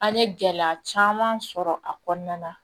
An ye gɛlɛya caman sɔrɔ a kɔnɔna na